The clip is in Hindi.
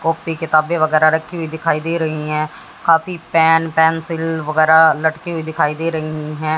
कापी किताबें वगैरा रखी हुई दिखाई दे रही है काफी पेन पेंसिल वगैरा लटके हुए दिखाई दे रही है।